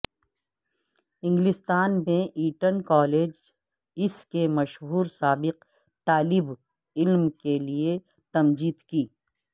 انگلستان میں Eton college اس کے مشہور سابق طالب علم کے لئے تمجید کی